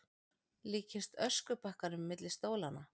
Líkist öskubakkanum milli stólanna.